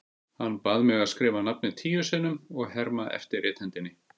Hann bað mig að skrifa nafnið tíu sinnum og herma eftir rithendinni.